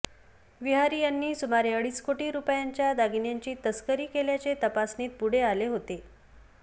विहारी यांनी सुमारे अडीच कोटी रुपयांच्या दागिन्यांची तस्करी केल्याचे तपासणीत पुढे आले होते